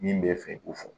Min bɛ fɛ k'o fɔ